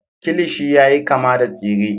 kilishi yayi kama da tsire